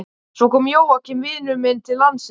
Svo kom Jóakim vinur minn til landsins.